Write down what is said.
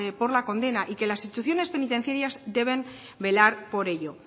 por la condena y que las instituciones penitenciarias deben velar por ello